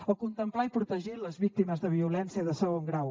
o contemplar i protegir les víctimes de violència de segon grau